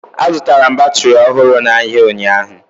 Azụtara m batịrị ọhụrụ n'ahịa ụnyaahụ